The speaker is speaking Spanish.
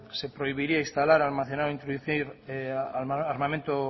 se prohibiría instalar almacenar o introducir armamento